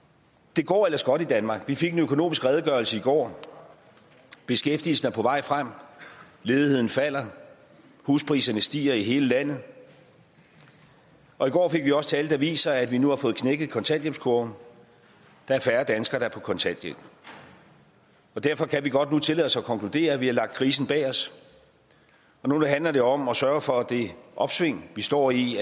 det går ellers godt i danmark vi fik en økonomisk redegørelse i går beskæftigelsen er på vej frem ledigheden falder huspriserne stiger i hele landet og i går fik vi også tal der viser at vi nu har fået knækket kontanthjælpskurven der er færre danskere der er på kontanthjælp derfor kan vi godt nu tillade os at konkludere at vi har lagt krisen bag os og nu handler det om at sørge for at det opsving vi står i